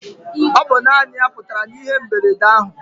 Ọ bụ naanị ya putara na ihe mberede ahụ.